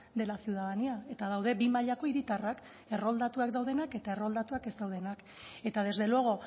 de la ciudadanía eta daude bi mailako hiritarrak erroldatuak daudenak eta erroldatuak ez daudenak eta desde luego